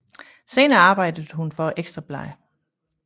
Senere arbejdede hun for Ekstra Bladet